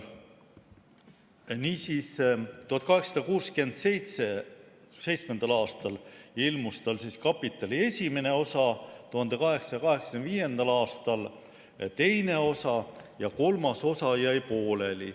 Niisiis, 1867. aastal ilmus "Kapitali" esimene osa, 1885. aastal teine osa ja kolmas osa jäi pooleli.